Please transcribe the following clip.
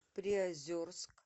приозерск